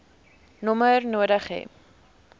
nommer nodig hê